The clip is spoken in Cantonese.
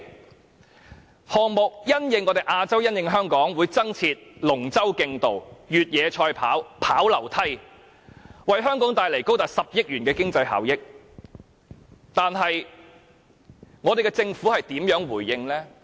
運動項目因應亞洲，因應香港會增設龍舟競渡、越野賽跑和跑樓梯，為香港帶來高達10億元的經濟效益，但香港政府如何回應？